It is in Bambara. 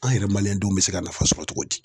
An yɛrɛ denw bɛ se ka nafa sɔrɔ cogo di.